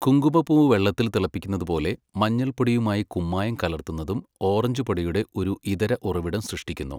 കുങ്കുമപ്പൂവ് വെള്ളത്തിൽ തിളപ്പിക്കുന്നത് പോലെ, മഞ്ഞൾപ്പൊടിയുമായി കുമ്മായം കലർത്തുന്നതും ഓറഞ്ച് പൊടിയുടെ ഒരു ഇതര ഉറവിടം സൃഷ്ടിക്കുന്നു.